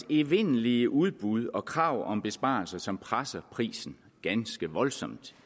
evindelige udbud og krav om besparelser som presser priserne ganske voldsomt